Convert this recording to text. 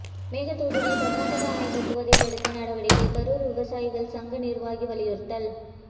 மேகதாதுவில் கர்நாடகா அணை கட்டுவதை தடுக்க நடவடிக்கை கரூர் விவசாயிகள் சங்க நிர்வாகி வலியுறுத்தல்